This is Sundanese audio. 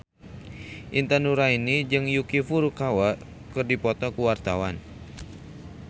Intan Nuraini jeung Yuki Furukawa keur dipoto ku wartawan